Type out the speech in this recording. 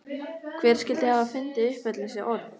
Hver skyldi hafa fundið upp öll þessi orð?